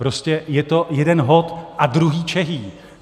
Prostě je to jeden hot a druhý čehý.